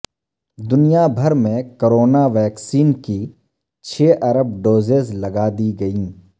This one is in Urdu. دنیا بھر میں کرونا ویکسین کی چھ ارب ڈوزز لگا دی گئیں